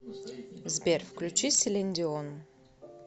сбер включи селин дион